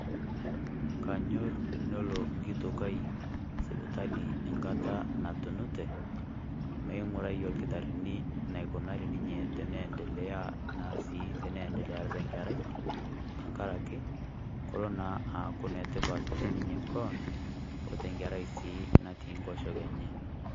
Kanyorr enelo enkitok ai sipitali engata natunitie meing'urai olkitarrini eneikunari ninye enaikuni enee aendelea ninye tenkerai, tengaraki kelo naa ninye aaku enetipat teninye kewan weNkerai naa natii Enkoshoke enye.